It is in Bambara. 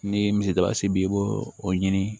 Ni misidasi b'i bolo o ɲini